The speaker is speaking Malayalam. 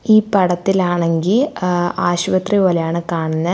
ഈ പടത്തിലാണെങ്കി ഏഹ് ആശുപത്രി പോലെയാണ് കാണുന്നെ.